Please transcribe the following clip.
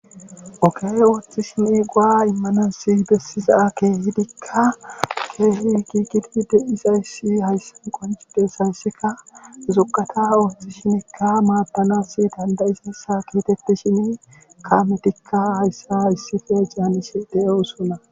Oge oothishe go'a imanas besiza keehidikka keehi giigidi de'days hayssan qonccides hayssankka zugata oothishe maadanas kaametikka hayssa issippe caanishe de'osona.